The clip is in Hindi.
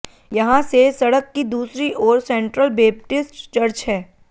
यहां से सड़क की दूसरी ओर सेंट्रल बेपटिस्ट चर्च है